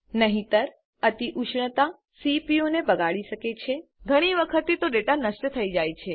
નહિતર અતિઉષ્ણતા સીપીયુને બગાડી શકે છે ઘણી વખત તો ડેટા નષ્ટ થઈ જાય છે